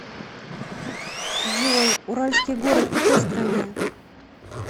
джой уральские горы в какой стране